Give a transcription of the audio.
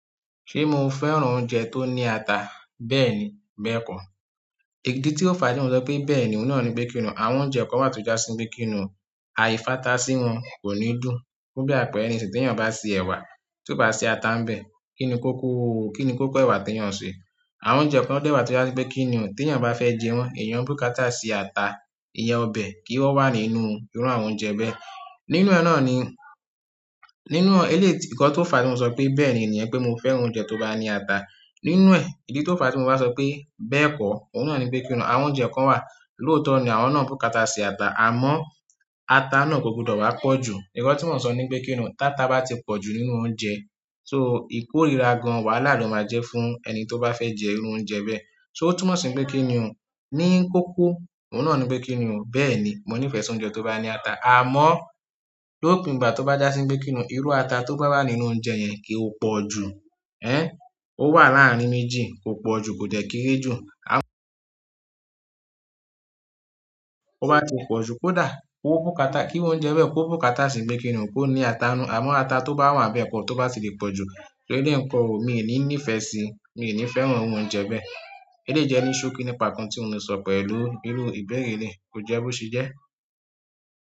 Ṣé mo fẹ́ran oúnjẹ tó ní ata? Bẹ́ẹ̀ni, bẹ́ẹ̀ kọ́. Èyí tí ó fa tí mo sọ pé bẹ́ẹ̀ ni òhun náà ni pé kí ni, àwọn oúnjẹ kan wà tó jásí bíi kí ni àyífatá sí wọn kò ní dùn. Fún bí àpẹẹrẹ ni sí tí èèyàn bá ṣe ẹ̀wà, tí ó bá ṣe ata ń bẹ, kí ni kó kú, kí ni kó kọ́ ẹ̀wà tí èèyàn ń ṣe. Àwọn oúnjẹ kan dẹ́wà tí ó jásí pé kí ni ò, tí èèyàn bá fẹ́ jẹ wọ́n, èèyàn búkata sí ata, ìyẹ́ ọbẹ̀ kí wọ́n wà nínú irú àwọn oúnjẹ bẹ́ẹ̀. Nínú ẹ̀ náà ni, nínú ẹ̀ lè tí ń kọ tó fa tí mo sọ pé bẹ́ẹ̀ ni èèyàn pé mo fẹ́ran oúnjẹ tó bá ní ata. Nínú ẹ̀, ìdí tó fàá tí mo bá sọ pé bẹ́ẹ̀kọ́ òhun náà ni pé kíni o, àwọn oúnjẹ kan wà lóòtó ní àwọn náà bùkátà sí ata àmọ́ ata náà kò gbọdọ̀ wá pọ̀jù ǹkan tí mo sọ ni pé kí ni, táta bá ti pọ̀ jù nínú oúnjẹ, so ìkórira gan wàhálà ló máa jẹ́ fún ẹni tó bá fẹ́ jẹ irú oúnjẹ bẹ́ẹ̀. So ó túmọ̀ sí pé kí ni, ní kókó, òhun náà ni pé kí ni, bẹ́ẹ̀ni, mo nífẹ̀ẹ́ sí oúnjẹ tó bá ní ata, àmọ́ lópin gbà tó bá jásí pé kí ni irú ata tó bá wà nínú oúnjẹ yẹn kò pọ̀ jù. Ẹn, ó wà láàrin méjì, kò pọ̀ jù, kòdẹ̀ kéré jù. Ó wá ti pọ̀ jù, kódà. Kó bùkátà, kí irú oúnjẹ bẹ, kó bùkátà sí pé kíni o, kó ní ata nínú l, àmọ́ ata tó wà níbẹ̀ tó bá ti pọ̀jú, eléyìí ń kọ́, mí ò ní nífẹ̀ẹ́ si, mi ní fẹ́ràn irú oúnjẹ bẹ́. Èyí lè jẹ́ ní ṣókí nípa ohun tí mo ń sọ pẹ̀lú irú ìbéèrè eléyìí, kò jẹ́ bó ṣe jẹ́.